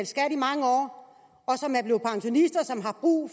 skat i mange år og som er blevet pensionister og som har brug